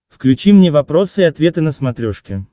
включи мне вопросы и ответы на смотрешке